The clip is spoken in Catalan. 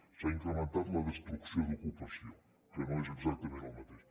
s’ha incrementat la destrucció d’ocupació que no és exactament el mateix